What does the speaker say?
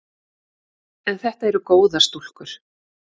En þetta eru góðar stúlkur.